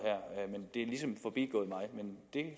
men